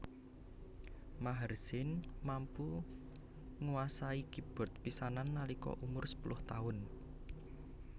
Maher Zain mampu nguasani keybord pisanan nalika umur sepuluh taun